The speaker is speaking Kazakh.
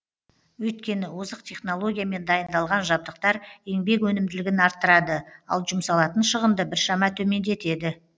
өйткені озық технологиямен дайындалған жабдықтар еңбек өнімділігін арттырады ал жұмсалатын шығынды біршама төмендетеді